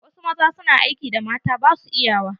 Wasu maza su na aikin da mata basu iyawa.